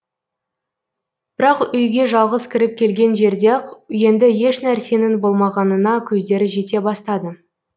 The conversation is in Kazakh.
бірақ үйге жалғыз кіріп келген жерде ақ енді ешнәрсенің болмағанына көздері жете бастады